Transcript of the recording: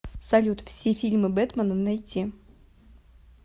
салют все фильмы бэтмана найти